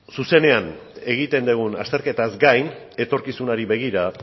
zuzenean egiten dugun azterketaz gain etorkizunari begira